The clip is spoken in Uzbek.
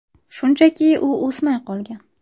Shunchaki u o‘smay qolgan.